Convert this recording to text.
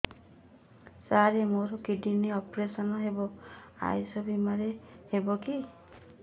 ସାର ମୋର kidney operation ହେବ ଆୟୁଷ ବିମାରେ ହେବ କି